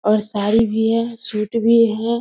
और साड़ी भी है सूट भी है ।